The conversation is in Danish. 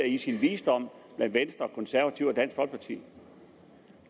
i sin visdom fundet af i venstre konservative og dansk folkeparti